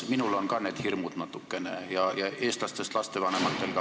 Minul on ka neid hirme natukene ja eestlastest lastevanematel ka.